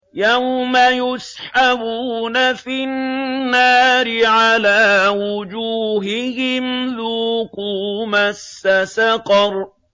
يَوْمَ يُسْحَبُونَ فِي النَّارِ عَلَىٰ وُجُوهِهِمْ ذُوقُوا مَسَّ سَقَرَ